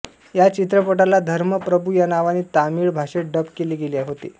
या चित्रपटाला धर्म प्रभू या नावाने तामिळ भाषेत डब केले गेले होते